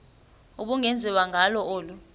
ubungenziwa ngalo olu